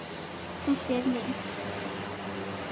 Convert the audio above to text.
Þessi er minn.